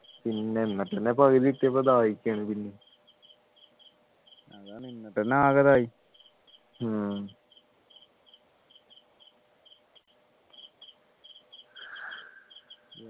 പിന്നെ എന്നാ പിന്നെ പകുതി എത്തിയപ്പോ ദാഹിക്കുന്നു പിന്നെയും അതാണ് എന്നിട്ടു ആകെ ഇതായി